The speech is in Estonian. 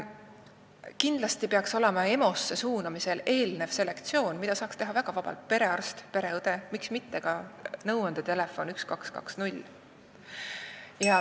Kindlasti peaks EMO-sse suunamisele eelnema selektsioon, mida saaks teha väga vabalt perearst, pereõde, miks mitte ka nõuandetelefon 1220.